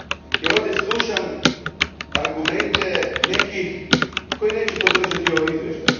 jer ovdje slušam argumente nekih koji neće podržati ovo izvješće.